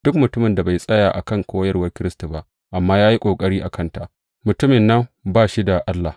Duk mutumin da bai tsaya a kan koyarwar Kiristi ba, amma ya yi ƙari a kanta, mutumin nan ba shi da Allah.